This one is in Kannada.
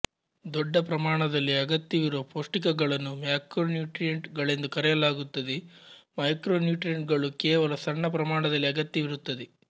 ದೊಡ್ಡ ಪ್ರಮಾಣದಲ್ಲಿ ಅಗತ್ಯವಿರುವ ಪೌಷ್ಟಿಕಗಳನ್ನು ಮ್ಯಾಕ್ರೋನ್ಯೂಟ್ರಿಯಂಟ್ ಗಳೆಂದು ಕರೆಯಲಾಗುತ್ತದೆ ಮೈಕ್ರೋನ್ಯೂಟ್ರಿಯಂಟ್ ಗಳು ಕೇವಲ ಸಣ್ಣ ಪ್ರಮಾಣದಲ್ಲಿ ಅಗತ್ಯವಿರುತ್ತದೆ